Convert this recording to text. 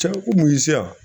Cɛ ko mun y'i se yan